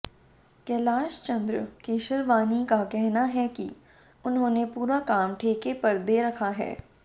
कैलाश चंद्र केशरवानी का कहना है कि उन्होंने पूरा काम ठेके पर दे रखा है